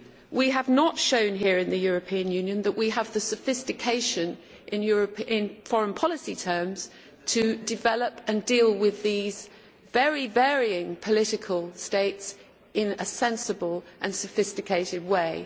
we have not shown here in the European Union that we have the sophistication in foreign policy terms to develop and deal with these very varying political states in a sensible and sophisticated way.